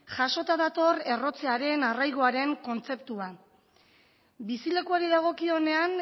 jasota dator errotzearen arraigoaren kontzeptua bizilekuari dagokionean